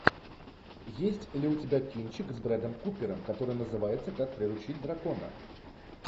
есть ли у тебя кинчик с брэдом купером который называется как приручить дракона